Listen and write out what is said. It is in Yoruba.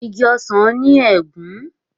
Ìgi ọsán ní egún.